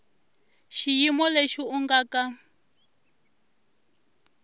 xiyimo lexi u nga ka